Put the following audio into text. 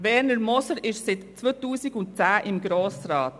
Er ist seit 2010 im Grossen Rat.